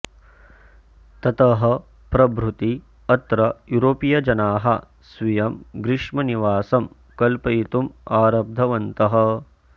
ततः प्रभृति अत्र यूरोपीयजनाः स्वीयं ग्रीष्मनिवासं कल्पयितुम् आरब्धवन्तः